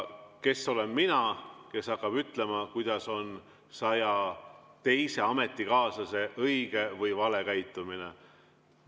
Kes olen mina, kes hakkab ütlema, milline on saja teise ametikaaslase õige või vale käitumine?